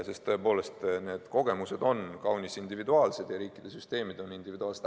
Sest tõepoolest, need kogemused on kaunis individuaalsed ja riikide süsteemid on individuaalsed.